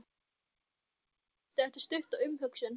Ég held ekki, svarar Doddi eftir stutta umhugsun.